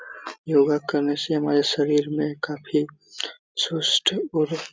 योगा करने से हमारे शरीर में काफी सुस्त और --